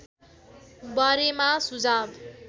बारेमा सुझाव